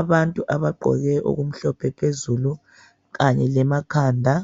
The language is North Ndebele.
Abantu abagqoke okumhlophe phezulu kanye lemakhanda.